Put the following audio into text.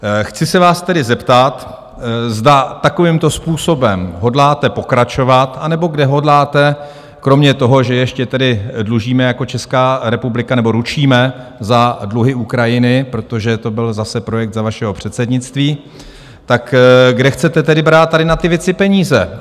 Chci se vás tedy zeptat, zda takovýmto způsobem hodláte pokračovat, anebo kde hodláte, kromě toho, že ještě tedy dlužíme jako Česká republika nebo ručíme za dluhy Ukrajiny, protože to byl zase projekt za vašeho předsednictví, tak kde chcete tedy brát tady na ty věci peníze?